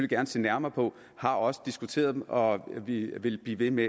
gerne se nærmere på har også diskuteret dem og vi vil blive ved med